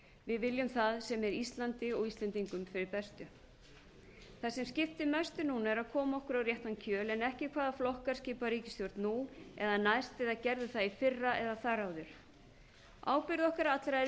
við viljum það sem er íslandi og íslendingum fyrir bestu það sem skiptir mestu núna er að koma okkur á réttan kjöl en ekki hvaða flokkar skipa ríkisstjórn nú eða næst eða gerðu það í fyrra eða þar áður ábyrgð okkar allra er